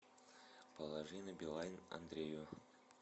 положи на билайн андрею